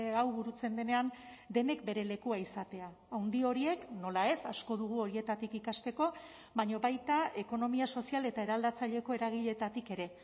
hau burutzen denean denek bere lekua izatea handi horiek nola ez asko dugu horietatik ikasteko baina baita ekonomia sozial eta eraldatzaileko eragileetatik ere